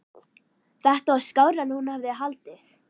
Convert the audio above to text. Þetta var skárra en hún hafði haldið.